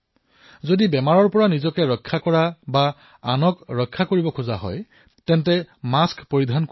যদি ৰোগৰ পৰা নিজে ৰক্ষা পৰিব লাগে আৰু আনকো বচাব লাগে তেন্তে আপুনি মাস্ক পিন্ধিব লাগিব